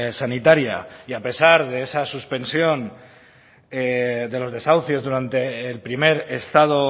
sanitaria y a pesar de esa suspensión de los desahucios durante el primer estado